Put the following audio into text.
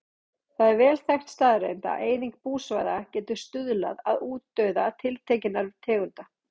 Það er vel þekkt staðreynd að eyðing búsvæða getur stuðlað að útdauða tiltekinnar tegundar.